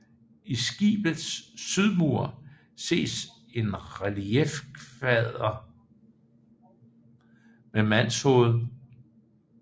I Skibets sydmur ses en reliefkvader med mandshoved